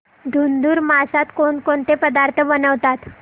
धुंधुर मासात कोणकोणते पदार्थ बनवतात